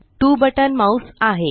2 button mouse आहे